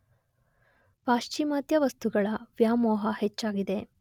ಪಾಶ್ಚಿಮಾತ್ಯ ವಸ್ತುಗಳ ವ್ಯಾಮೋಹ ಹೆಚ್ಚಾಗಿದೆ.